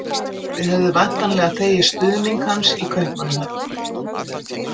Þið hefðuð væntanlega þegið stuðning hans í Kaupmannahöfn?